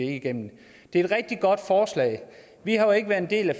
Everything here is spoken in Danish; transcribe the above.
ikke igennem det er et rigtig godt forslag vi har jo ikke været en del af